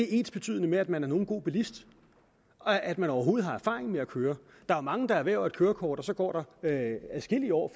ensbetydende med at man er en god bilist og at man overhovedet har erfaring med at køre der er mange der erhverver et kørekort og så går der adskillige år